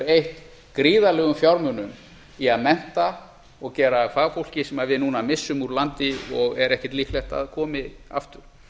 eytt gríðarlegum fjármunum í að mennta og gera að fagfólki sem við núna missum úr landi og er ekki líklegt að komi aftur